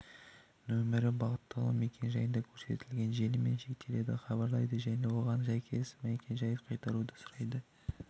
нөмірі бағытталу мекен-жайында көрсетілген желімен шектеледі хабарлайды және оған сәйкес мекен-жайы қайтаруды сұрайды